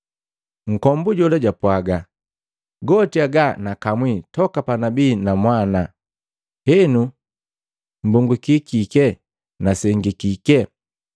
Nkombu jola jwapwaga, “Goti aga nagakamwi toka panabii namwana, henu mbongukiki na sengi kike?”